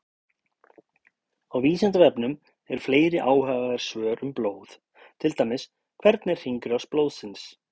Á Vísindavefnum eru fleiri áhugaverð svör um blóð, til dæmis: Hvernig er hringrás blóðsins?